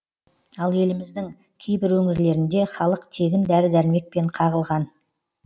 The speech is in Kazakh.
ал еліміздің кейбір өңірлерінде халық тегін дәрі дәрмектен қағылған